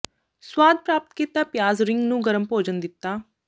ਸਵਾਦ ਪ੍ਰਾਪਤ ਕੀਤਾ ਪਿਆਜ਼ ਰਿੰਗ ਨੂੰ ਗਰਮ ਭੋਜਨ ਦਿੱਤਾ